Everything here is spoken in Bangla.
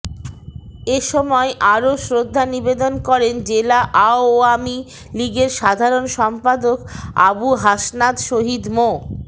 এ সময় আরো শ্রদ্ধা নিবেদন করেন জেলা আওয়ামী লীগের সাধারণ সম্পাদক আবু হাসনাত শহিদ মো